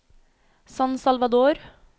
San Salvador